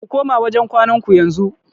Ku koma wajen kwanan ku yanzu.